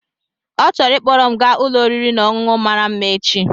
Ọ chọrọ ịkpọrọ m gaa ụlọ oriri na ọṅụṅụ mara mma echi.